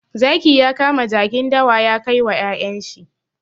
Zaki ya kama jakin dawa ya kai wa ƴaƴen shi.